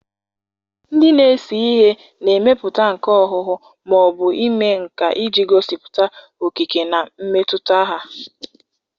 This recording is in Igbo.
Ndị na-ese ihe na-emepụta nka ọhụhụ ma ọ bụ ime nka iji gosipụta okike na mmetụta ha.